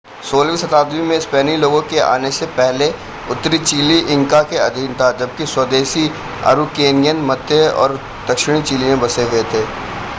16 वीं शताब्दी में स्पेनी लोगों के आने से पहले उत्तरी चिली इंका के अधीन था जबकि स्वदेशी अरुकेनियन मापुचे मध्य और दक्षिणी चिली में बसे हुए थे।